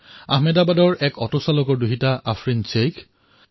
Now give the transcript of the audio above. আহমেদাবাদৰ ছোৱালী আফৰীণ শ্বেখ যাৰ পিতৃয়ে অটো ৰিক্সা চলায়